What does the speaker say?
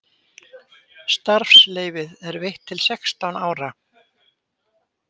Starfsleyfið er veitt til sextán ára